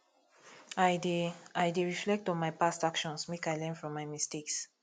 i dey i dey reflect on my past actions make i learn from my mistakes